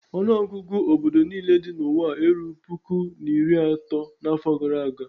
Ọnụọgụgụ obodo niile dị n'ụwa erughị puku na iri atọ n'afọ gara aga.